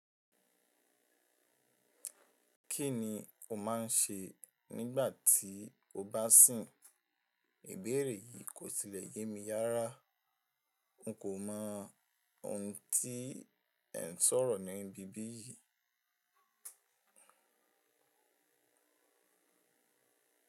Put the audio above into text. Kí ni o máa ń ṣe nígbà tí o bá sìn? Ìbéèrè yìí kò sílẹ̀ yé mi rára. N kò mọ ohun tí ẹ ń sọ̀rọ̀ ní ibí bí yìí.